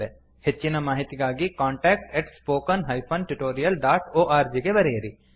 ಹೆಚ್ಚಿನ ಮಾಹಿತಿಗಾಗಿcontactspoken tutorialorg ಗೆ ಬರೆಯಿರಿ